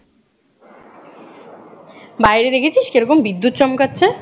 বাহিরে দেখেছিস কিরকম বিদ্যুৎ চমকাচ্ছে